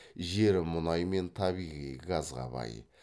жері мұнай мен табиғи газға бай